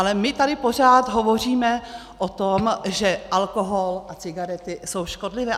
Ale my tady pořád hovoříme o tom, že alkohol a cigarety jsou škodlivé.